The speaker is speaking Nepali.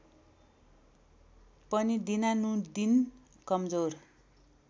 पनि दिनानुदिन कमजोर